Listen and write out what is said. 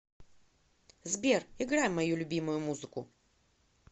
сбер играй мою любимую музыку